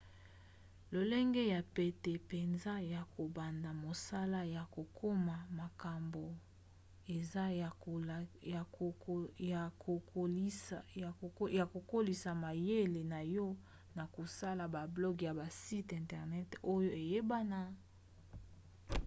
lolenge ya pete mpenza ya kobanda mosala ya kokoma makambo eza ya kokolisa mayele na yo na kosala bablog ya basite internet oyo eyebana